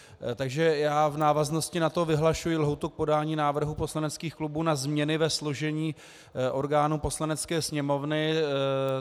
Takže já v návaznosti na to vyhlašuji lhůtu k podání návrhů poslaneckých klubů na změny ve složení orgánů Poslanecké sněmovny.